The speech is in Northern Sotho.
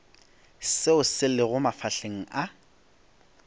seo se lego mafahleng a